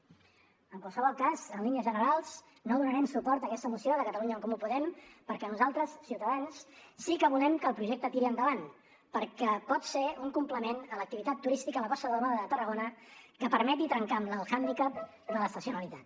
en qualsevol cas en línies generals no donarem suport a aquesta moció de catalunya en comú podem perquè nosaltres ciutadans sí que volem que el projecte tiri endavant perquè pot ser un complement a l’activitat turística a la costa daurada de tarragona que permeti trencar amb el hàndicap de l’estacionalitat